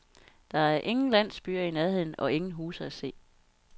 Der er ingen landsbyer i nærheden og ingen huse at se.